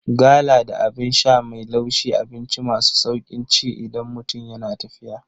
Gala da Abin sha mai laushi abinci masu sauƙin ci idan mutum yana tafiya